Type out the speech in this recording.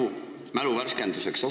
Küsin mälu värskenduseks.